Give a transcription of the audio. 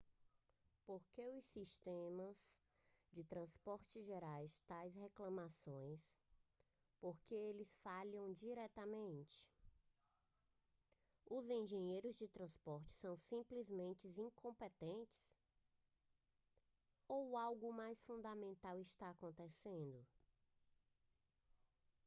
por que os sistemas de transporte geram tais reclamações por que eles falham diariamente os engenheiros de transporte são simplesmente incompetentes ou algo mais fundamental está acontecendo